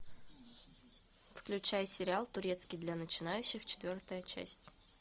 включай сериал турецкий для начинающих четвертая часть